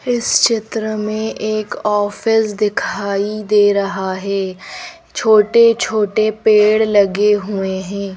इस चित्र में एक ऑफिस दिखाई दे रहा है छोटे छोटे पेड़ लगे हुए हैं।